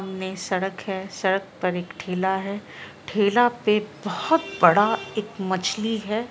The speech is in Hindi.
ने सड़क है सड़क पर एक ठेला है ठेला पे बहुत बड़ा एक मछली है ।